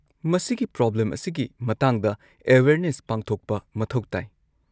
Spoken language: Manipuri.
ꯃꯁꯤꯒꯤ ꯄ꯭ꯔꯣꯕ꯭ꯂꯦꯝ ꯑꯁꯤꯒꯤ ꯃꯇꯥꯡꯗ ꯑꯦꯋꯦꯔꯅꯦꯁ ꯄꯥꯡꯊꯣꯛꯄ ꯃꯊꯧ ꯇꯥꯏ꯫